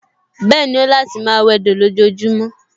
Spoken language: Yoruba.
Bẹ́ẹ̀ni, ó láti máa wẹdò lójojúmọ́